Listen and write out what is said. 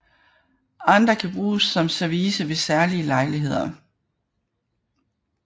Andre kan bruges som service ved særlige lejligheder